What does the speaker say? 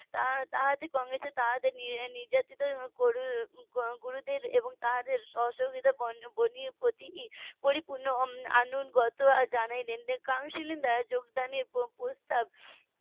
. কংগ্রেসের তাদের নির্যাতিত গুরুদের এবং তাদের অসহযোগিতার . পরিপূর্ণ . counselling দ্বারা যোগদানের প্রস্তাব